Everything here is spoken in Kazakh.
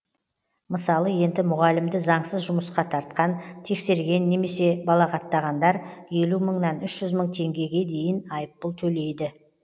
мысалы енді мұғалімді заңсыз жұмысқа тартқан тексерген немесе балағаттағандар елу мыңнан үш жүз мың теңгеге дейін айыппұл төлейді